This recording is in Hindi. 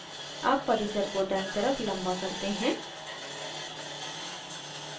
अब परिसर को दायीं तरफ लम्बा करते हैं